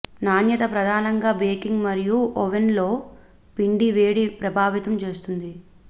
నాణ్యత ప్రధానంగా బేకింగ్ మరియు ఓవెన్లో పిండి వేడి ప్రభావితం చేస్తుంది